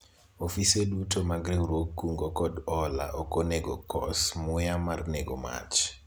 ofise duto mag riwruog kungo kod hola ok ongeo kos muya mar nego mach